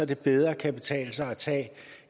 det bedre kan betale sig at tage